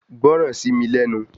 Gbọ́ràn sí mi lẹ́nu